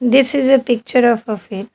This is a picture of a field.